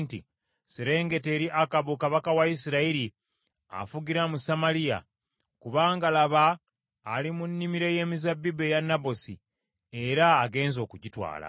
“Serengeta eri Akabu kabaka wa Isirayiri afugira mu Samaliya, kubanga laba ali mu nnimiro ey’emizabbibu eya Nabosi era agenze okugitwala.